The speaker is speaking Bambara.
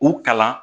U kalan